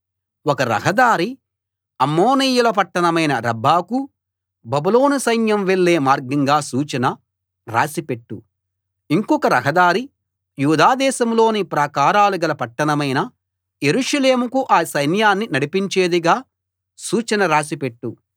ఒక రహదారి అమోనీయుల పట్టణమైన రబ్బాకు బబులోను సైన్యం వెళ్ళే మార్గంగా సూచన రాసి పెట్టు ఇంకొక రహదారి యూదా దేశంలోని ప్రాకారాలుగల పట్టణమైన యెరూషలేముకు ఆ సైన్యాన్ని నడిపించేదిగా సూచన రాసి పెట్టు